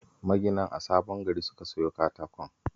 Maginan a Sabon Gari suka siyo katakon